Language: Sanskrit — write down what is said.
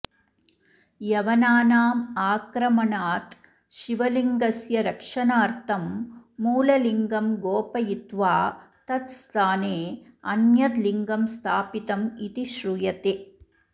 यवनानाम् आक्रमणात् शिवलिङ्ग्स्य रक्षणार्थं मूललिङ्गं गोपयित्वा तत्स्थाने अन्यद् लिङ्गं स्थापितम् इति श्रूयते